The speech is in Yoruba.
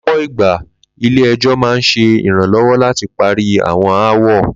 Ló̩pò̩ ìgbà, ilé e̩jó̩ máa ń s̩e ìrànló̩wó̩ láti parí àwo̩n aáwò̩